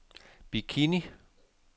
Bikini